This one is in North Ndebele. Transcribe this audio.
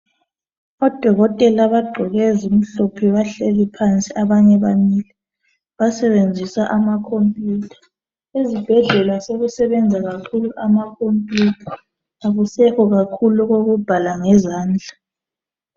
Odokotela abagqoke ezimhlophe bahleli phansi abanye bamile. Basebenzisa amakhompiyutha. Ezibhedlela sebesebenza kakhulu amakhompiyutha akusekho kakhulu okokubhala ngezandla.